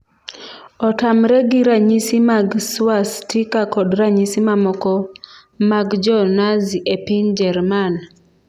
Otamre gi ranyisi mag swastika kod ranyisi mamoko mag Jo-Nazi e piny Jerman.